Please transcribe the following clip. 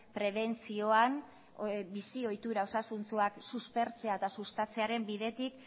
prebentzioan bizi ohitura osasuntsuak suspertzea eta sustatzearen bidetik